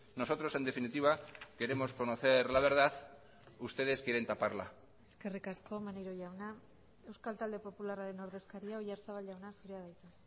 nosotros en definitiva queremos conocer la verdad ustedes quieren taparla eskerrik asko maneiro jauna euskal talde popularraren ordezkaria oyarzabal jauna zurea da hitza